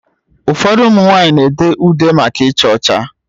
Ụfọdụ ụmụ nwanyị na-ede ude maka icha ucha